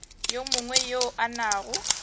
yo mongwe yo a nago